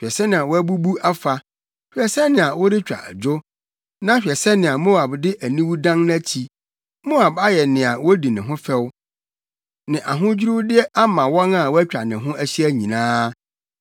“Hwɛ sɛnea wabubu afa! Hwɛ sɛnea wɔretwa adwo! Na hwɛ sɛnea Moab de aniwu dan nʼakyi! Moab ayɛ nea wodi ne ho fɛw, ne ahodwiriwde ama wɔn a wɔatwa ne ho ahyia nyinaa.”